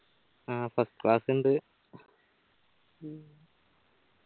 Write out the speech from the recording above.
ആ first class ഇണ്ട്